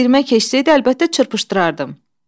Girmə keçsəydi əlbəttə çırpışdırardım.